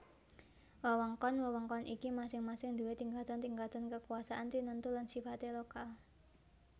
Wewengkon wewengkon iki masing masing duwé tingkatan tingkatan kekuasaan tinentu lan sifate lokal